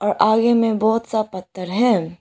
और आगे में बहोत सा पत्थर है।